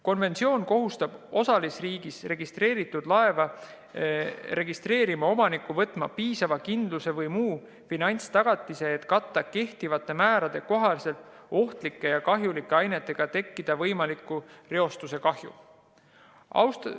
Konventsioon kohustab osalisriigis registreeritud laeva registreeritud omanikku võtma piisava kindlustuse või muu finantstagatise, et katta kehtivate määrade kohaselt ohtlike ja kahjulike ainetega tekitatav võimalik reostuskahju.